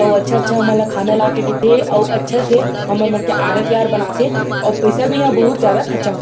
अऊ अच्छा-अच्छा हमर ला खाना ला के देथे और अच्छा से हमर मन के आदत व्यवहार बनाथे अऊ पैसा भी इहाँ बहुत ज्यादा खर्चा --